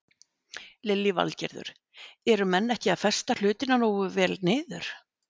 Lillý Valgerður: Eru menn ekki að festa hlutina nógu vel niður?